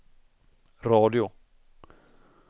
radio